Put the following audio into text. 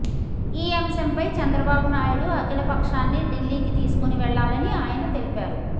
ఈ అంశంపై చంద్రబాబునాయుడు అఖిలపక్షాన్ని ఢిల్లీకి తీసుకుని వెళ్లాలని ఆయన తెలిపారు